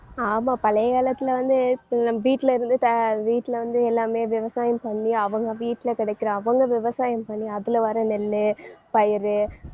ஆமா பழைய காலத்துல வந்து இப்ப நம்ம வீட்டுல இருந்து த~ வீட்டுல வந்து எல்லாமே விவசாயம் பண்ணி அவங்க வீட்டுல கிடைக்கிற அவங்க விவசாயம் பண்ணி அதுல வர்ற நெல்லு, பயரு